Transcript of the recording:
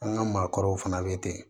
An ka maakɔrɔw fana bɛ ten